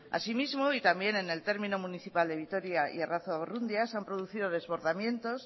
asimismo y también en el término municipal de vitoria y arrazua ubarrundia se han producido desbordamiento